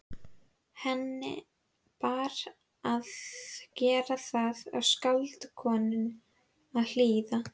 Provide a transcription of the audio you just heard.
Henni bar að gera það og skáldkonunni að hlýða.